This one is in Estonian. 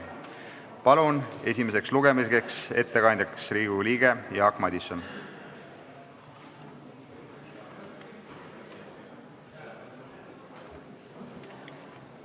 Palun esimese lugemise ettekandeks kõnetooli Riigikogu liikme Jaak Madisoni!